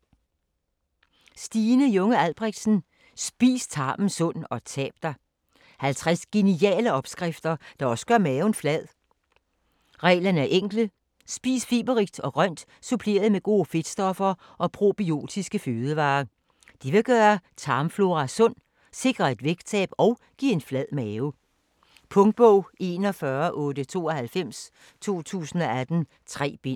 Junge Albrechtsen, Stine: Spis tarmen sund - og tab dig 50 geniale opskrifter, der også gør maven flad. Reglerne er enkle: spis fiberrigt og grønt suppleret med gode fedtstoffer og probiotiske fødevarer. Det vil gøre tarmflora sund, sikre et vægttab og give en flad mave. Punktbog 418298 2018. 3 bind.